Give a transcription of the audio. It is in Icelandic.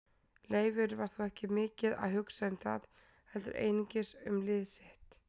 Leifur var þó ekki mikið að hugsa um það heldur einungis um lið sitt.